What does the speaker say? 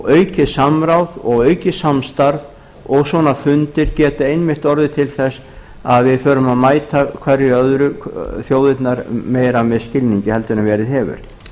aukið samráð og aukið samstarf og svona fundir geta einmitt orðið til þess að vi förum að mæta hver annarri þjóðirnar meira með skilningi en verið hefur